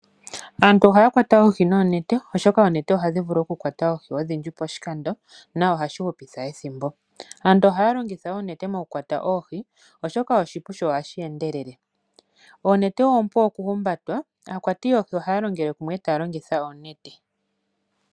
Aantu ohaya kwata oohi noonete, oshoka oonete ohadhi vulu okukwata oohi odhindji poshikando nohashi hupitha ethimbo. Aantu ohaya longitha oonete mokukwata oohi, oshoka oshipu sho ohashi endelele. Oonete oompu okuhumbatwa. Aakwati yoohi ohaya longele kumwe e taya longitha oonete.